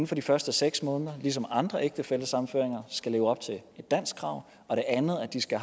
for de første seks måneder ligesom ved andre ægtefællesammenføringer skal leve op til et danskkrav og det andet er at de skal